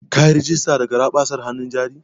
Kayi rigista da garaɓasan hanun jarin?